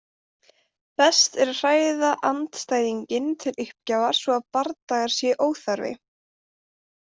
Best er að hræða andstæðinginn til uppgjafar svo að bardagar séu óþarfir.